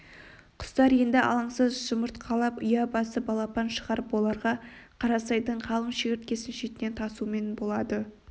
құстар енді алаңсыз жұмыртқалап ұя басып балапан шығарып оларға қарасайдың қалың шегірткесін шетінен тасумен болады